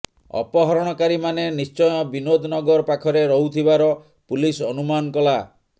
ଅପହରଣକାରୀମାନେ ନିଶ୍ଚୟ ବିନୋଦ ନଗର ପାଖରେ ରହୁଥିବାର ପୁଲିସ୍ ଅନୁମାନ କଲା